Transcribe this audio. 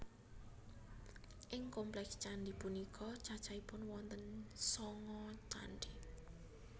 Ing kompleks candhi punika cacahipun wonten sanga candhi